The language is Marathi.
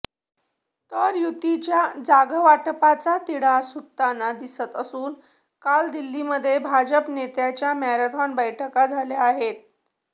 तर युतीच्या जागावाटपाचा तिढा सुटताना दिसत असून काल दिल्लीमध्ये भाजप नेत्यांच्या मॅरेथॉन बैठका झाल्या आहेत